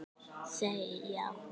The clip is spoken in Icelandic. Þau: Já.